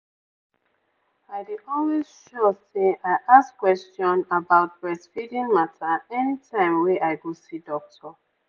i dey always sure say i ask question about breastfeeding mata anytime wey i go see doctor.